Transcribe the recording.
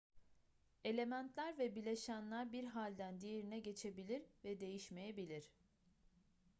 elementler ve bileşenler bir halden diğerine geçebilir ve değişmeyebilir